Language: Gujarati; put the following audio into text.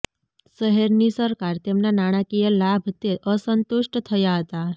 શહેરની સરકાર તેમના નાણાકીય લાભ તે અસંતુષ્ટ થયા હતા